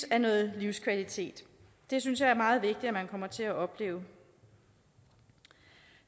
af noget livskvalitet det synes jeg er meget vigtigt at man kommer til at opleve